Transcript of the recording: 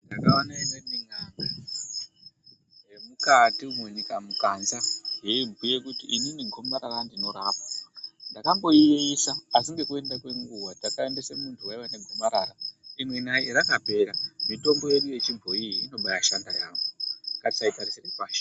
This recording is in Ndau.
Ndakaone imweni nyanga yemukati umwo nyika mukanza yeibhuye kuti inini gomarara ndinorapa ndakamboiyeisa asi ngekuda kwenguwa takaendesa munhu waiye negomarara imwi nayi rakapera mitombo yedu yechibhoyi inobashanda yaemho. Ngatisayitarisira pashi.